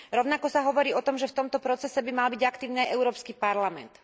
Rovnako sa hovorí o tom, že v tomto procese by mal byť aktívny aj Európsky parlament.